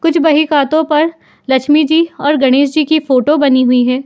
कुछ भाई खातों पर लक्ष्मी जी और गणेश जी की फोटो बनी हुई है।